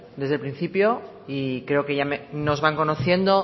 desde el principio y creo que ya nos van conociendo